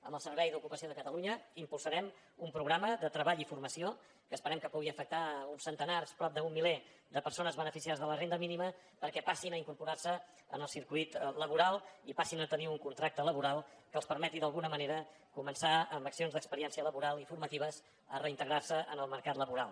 amb el servei d’ocupació de catalunya impulsarem un programa de treball i formació que esperem que pugui afectar uns centenars prop d’un miler de persones beneficiàries de la renda mínima perquè passin a incorporar se al circuit laboral i passin a tenir un contracte laboral que els permeti d’alguna manera començar amb accions d’experiència laboral i formatives a reintegrar se en el mercat laboral